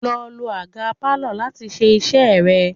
Lọ lo àga Pálọ̀ láti ṣe iṣẹ́ rẹ!